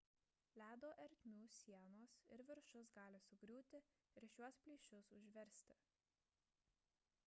ledo ertmių sienos ir viršus gali sugriūti ir šiuos plyšius užversti